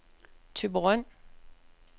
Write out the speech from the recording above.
Thyborøn